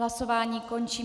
Hlasování končím.